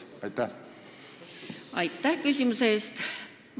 Aitäh küsimuse eest!